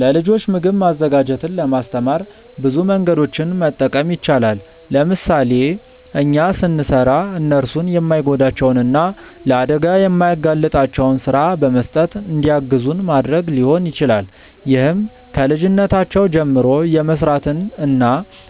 ለልጆች ምግብ ማዘጋጀትን ለማስተማር ብዙ መንገዶችን መጠቀም ይቻላል። ለምሳሌ እኛ ስንሰራ እነርሱን የማይጎዳቸውን እና ለአደጋ የማያጋልጣቸውን ስራ በመስጠት እንዲያግዙን ማድረግ ሊሆን ይችላል። ይህም ከልጅነታቸው ጀምሮ የመስራትን እና